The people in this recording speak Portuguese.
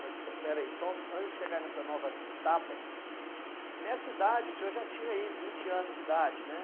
Mas, pe espera aí, só antes de chegar nessa nova etapa, nessa idade o senhor já tinha aí vinte anos de idade, né?